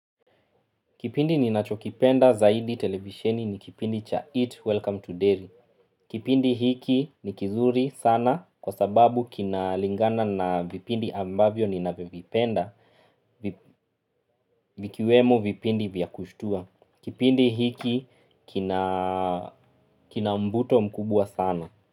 Kipindi ninachokipenda zaidi televisheni ni kipindi cha eat welcome to dairy. Kipindi hiki ni kizuri sana kwa sababu kina lingana na vipindi ambavyo ninavyovipenda vikiwemo vipindi vya kushtua. Kipindi hiki kina mbuto mkubwa sana.